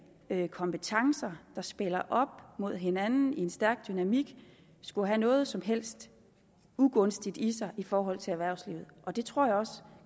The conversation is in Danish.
kompetencer der spiller op mod hinanden i en stærk dynamik skulle have noget som helst ugunstigt i sig i forhold til erhvervslivet det tror jeg også